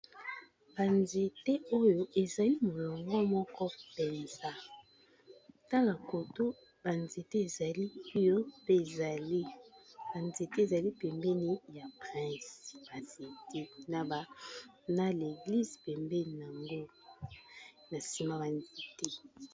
Balabala ya leta kitoko nakotambola. Eza bongo na ba nzete elandani landani epesi bilili ya kitoko. Pembeni ya ba nzete yango tozomona pe ndako ya nzambe esika bato bayaka ko sambela.